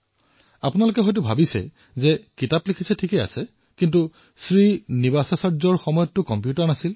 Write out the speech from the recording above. আপোনালোকে চিন্তা কৰিছে যে কিতাপ লিখাটো বাৰু ঠিকে আছে কিন্তু তেওঁৰ সময়ততো কম্পিউটাৰেই নাছিল